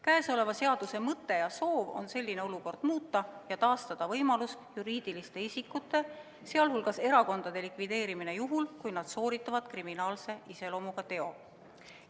Käesoleva seaduseelnõu eesmärk on olukorda muuta ja taastada võimalus juriidilised isikud, sh erakonnad likvideerida, juhul kui nad on sooritanud kriminaalse iseloomuga teo.